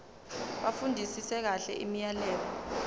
bafundisise kahle imiyalelo